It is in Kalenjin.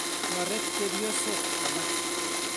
Toret chepyosok alak.